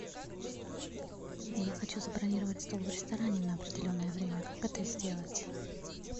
я хочу забронировать стол в ресторане на определенное время как это сделать